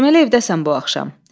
Deməli evdəsən bu axşam.